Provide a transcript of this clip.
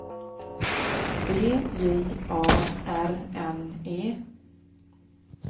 B J A R N E